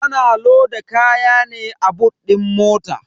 Ana loda kaya ne a boot din mota.